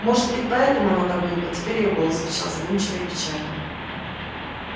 может быть поэтому оно так глупо теперь её голос звучал задумчиво и печально